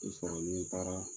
I sɔrɔ ni n taara